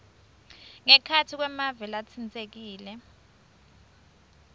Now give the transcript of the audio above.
ngekhatsi kwemave latsintsekile